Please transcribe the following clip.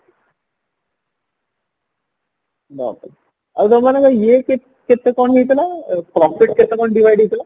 ବାପରେ ଆଉ ତମର ଇଏ କେତେ କଣ ହେଇଥିଲା profit କେତେ କଣ divide ହେଇଥିଲା